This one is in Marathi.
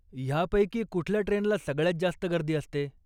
ह्यापैकी कुठल्या ट्रेनला सगळ्यात जास्त गर्दी असते?